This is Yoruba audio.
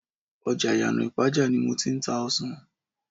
ọjà Iyana ipaja ni mo ti ń ta ọsàn.